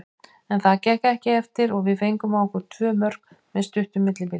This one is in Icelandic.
En það gekk ekki eftir og við fengum á okkur tvö mörk með stuttu millibili.